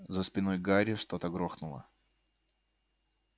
за спиной гарри что-то грохнуло